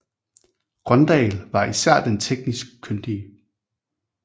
Grøndahl var især den teknisk kyndige